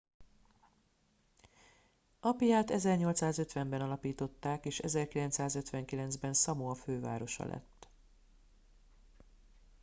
apiát 1850 ben alapították és 1959 ben szamoa fővárosa lett